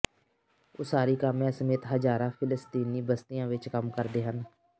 ਉਸਾਰੀ ਕਾਮਿਆਂ ਸਮੇਤ ਹਜ਼ਾਰਾਂ ਫਿਲਸਤੀਨੀ ਬਸਤੀਆਂ ਵਿਚ ਕੰਮ ਕਰਦੇ ਹਨ